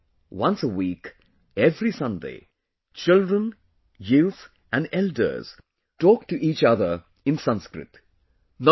Here, once a week, every Sunday, children, youth and elders talk to each other in Sanskrit